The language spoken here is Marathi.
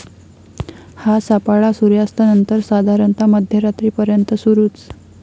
हा सापळा सुर्यास्तानंतर साधारणतः मध्यरात्रीपर्यंत सुरू ठेवावा.